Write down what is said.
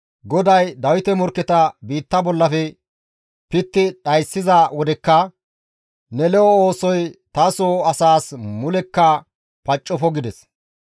GODAY Dawite morkketa biitta bollafe pitti dhayssiza wodekka ne lo7o oosoy taso asaas mulekka paccofo» gides.